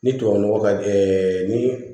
Ni tubabu nɔgɔ ka gɛlɛn ɛɛ ni